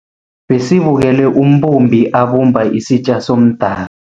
Besibukele umbumbi abumba isitja somda